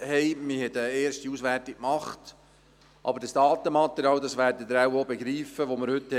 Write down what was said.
Man hat eine erste Auswertung gemacht, aber das Datenmaterial, das wir heute haben, ist zu wenig aussagekräftig.